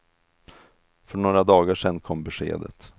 För några dagar sedan kom beskedet.